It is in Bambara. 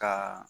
Ka